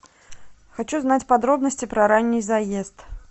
хочу знать подробности про ранний заезд